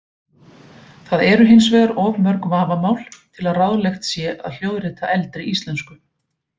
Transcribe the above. Það eru hins vegar of mörg vafamál til að ráðlegt sé að hljóðrita eldri íslensku.